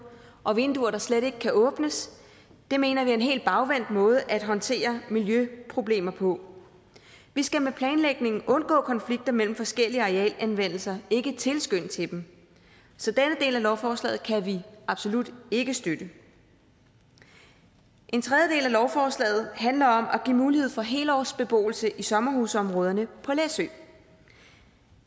og vinduer der slet ikke kan åbnes mener vi er en helt bagvendt måde at håndtere miljøproblemer på vi skal med planlægningen undgå konflikter mellem forskellige arealanvendelser ikke tilskynde til dem så denne del af lovforslaget kan vi absolut ikke støtte en tredje del af lovforslaget handler om at give mulighed for helårsbeboelse i sommerhusområderne på læsø